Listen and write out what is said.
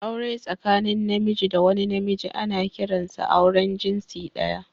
Aure tsakanin Namiji da wani Namiji ana kiransa auren jinsi daya